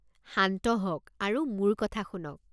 শান্ত হওক আৰু মোৰ কথা শুনক।